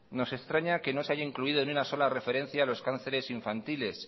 nos extraña que no se haya incluido ni una sola referencia a los cánceres infantiles